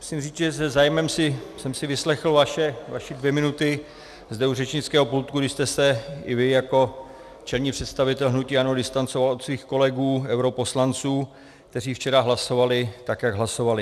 Musím říct, že se zájmem jsem si vyslechl vaše dvě minuty zde u řečnického pultu, kdy jste se i vy jako čelný představitel hnutí ANO distancoval od svých kolegů europoslanců, kteří včera hlasovali tak, jak hlasovali.